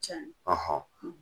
Can